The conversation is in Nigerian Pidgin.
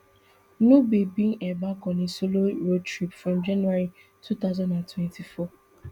nubi bin embark on a solo road trip from january two thousand and twenty-four